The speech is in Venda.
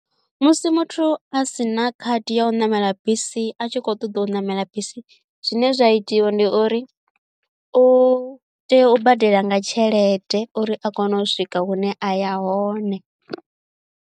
Musi muthu a sina khadi ya u ṋamela bisi a tshi kho ṱoḓa u ṋamela bisi zwine zwa itiwa ndi uri u tea u badela nga tshelede uri a kone u swika hune a ya hone.